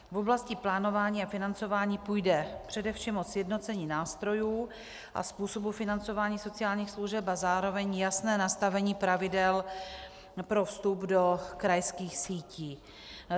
V oblasti plánování a financování půjde především o sjednocení nástrojů a způsobu financování sociálních služeb a zároveň jasné nastavení pravidel pro vstup do krajských sítí.